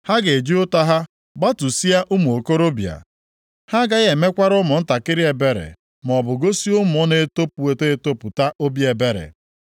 Ha ga-eji ụta ha gbatusịa ụmụ okorobịa; ha agaghị emekwara ụmụntakịrị ebere, maọbụ gosi ụmụ na-etopụta etopụta obi ebere.